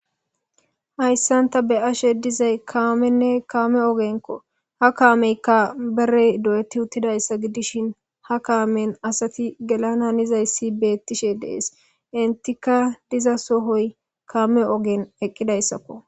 hayssanta be ashe dizay kaamenne kaame ogenkko ha kaameykka berey do7eti uttidayssa gidishin ha kaamen asati gelana nizayssi beettishe dees intika diza sohoy kaame ogen eqqidayssakko